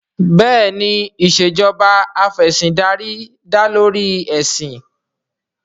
Bẹ́ẹ̀ni ìṣèjoba Af'ẹ̀sìndarí dá lórí ẹ̀sìn